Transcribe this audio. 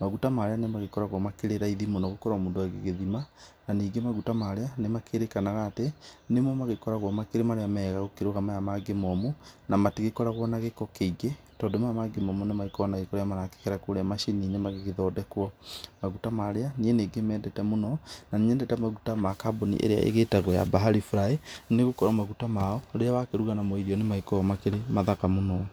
maguta marĩa magĩkoragwa makĩrĩ raithi mũno gũkĩrĩ mũndũ agĩthima na ningĩ maguta marĩa nĩmakĩrĩkanaga atĩ, nĩmo magĩkoragwa makĩrĩ mega gũkĩra aya mangĩ momũ na matigĩkoragwa na gĩko kĩingĩ tondũ aya mangĩ magĩkoragwa na gĩko marahĩtũkĩra gũkĩria macininĩ magĩthondekwo, maguta marĩa niĩ nĩndĩmendete mũno na nĩnyendete maguta ma kambũni ĩrĩa ĩgĩtagwo ya bahari fry nĩgũkorwo maguta mao, rĩrĩa wakĩruga namo irio ũgĩkorwo ũgĩkĩruga namo nĩmakoragwo mathaka mũno.